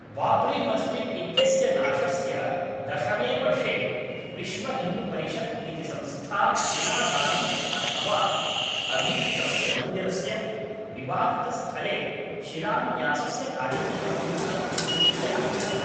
बाब्रीमस्जिद् इत्यस्य नाशस्य दशमे वर्षे विश्वहिन्दुपरिषद् इति संस्था शिलादानं अथवा अभीष्टस्य मन्दिरस्य विवादितस्थले शिलान्यासस्य कार्यक्रमं कर्तुम् ऐच्छत्।